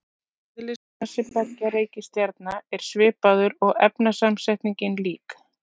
Eðlismassi beggja reikistjarna er svipaður og efnasamsetningin lík.